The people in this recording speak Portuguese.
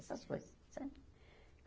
Essas coisas, sabe?